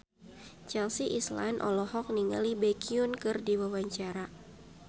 Chelsea Islan olohok ningali Baekhyun keur diwawancara